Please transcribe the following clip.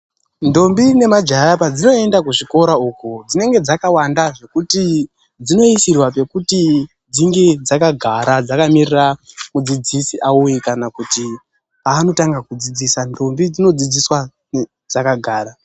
Ndombi nemajaya padzinoende kuzvikora uko dzinenge dzakawanda zvekuti dzinoisirwa pekuti dzinge dzakagara dzakamirira mudzidzisi auye kana kuti paanotanga kudzidzisa. Ndombi dzinodzidziswa dzakagara.